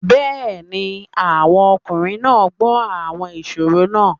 Yes, the men are listening to the riddles